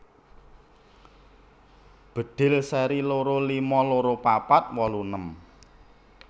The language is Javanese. Bedhil seri loro lima loro papat wolu enem